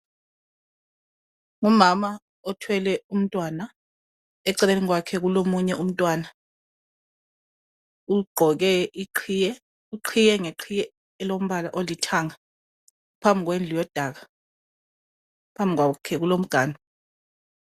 Umama othwele umtwana eceleni kwakhe kulomunye umtwana. Ugqoke iqhiye. Uqhiye ngeqhiye elombala olithanga phambi kwendlu yodaka. Phambi kwakhe kulo mganu.